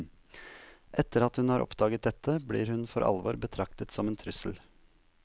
Etter at hun har oppdaget dette, blir hun for alvor betraktet som en trusel.